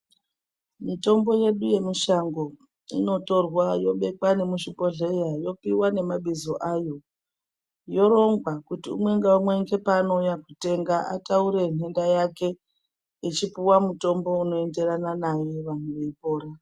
Mitombo yedu yemushango inotorwa yobekwa nemuzvibhedhleya yopiwa nemabizo ayo, yorongwa kuti umwe ngaumwe weshe paanouya kotenga ataure nhenda yake, echipuwa mutombo unoenderana naye vantu veyipora.